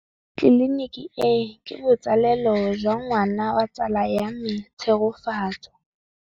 Tleliniki e, ke botsalêlô jwa ngwana wa tsala ya me Tshegofatso.